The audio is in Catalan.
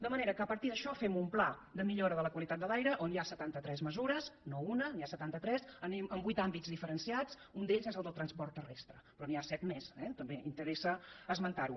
de manera que a partir d’això fem un pla de millora de la qualitat de l’aire on hi ha setanta tres mesures no una n’hi ha setanta tres en vuit àmbits diferenciats un d’ells és el del transport terrestre però n’hi ha set més eh també interessa esmentar ho